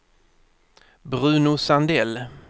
Bruno Sandell